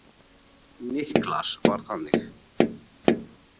Niklas var þannig.